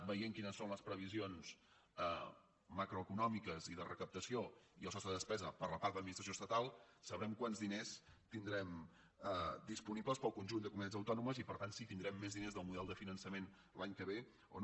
veient quines són les previsions macroeconòmiques i de recaptació i el sostre de despesa per la part d’administració estatal sabrem quants diners tindrem disponibles per al conjunt de comunitats autònomes i per tant si tindrem més diners del model de finançament l’any que ve o no